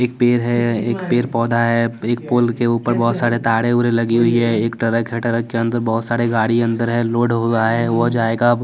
एक पेड़ है एक पेड़ पौधा है एक पोल के ऊपर बहुत सारे तारे लगी हुई है एक ट्रक है ट्रक के अंदर बहुत सारे गाड़ी अंदर है लोड हुआ है हो जाएगा--